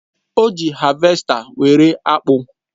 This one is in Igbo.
O ji havèsta were akpụ.